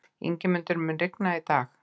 Ingimundur, mun rigna í dag?